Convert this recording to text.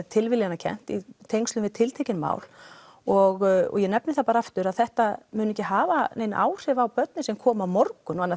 tilviljanakennt í tengslum við tiltekin mál og ég nefni það bara aftur að þetta mun ekki hafa nein áhrif á börnin sem koma á morgun